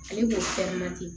Ale b'o